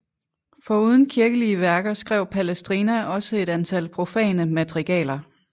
Foruden kirkelige værker skrev Palestrina også et antal profane madrigaler